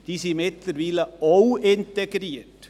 diese Gemeinde ist mittlerweile auch integriert.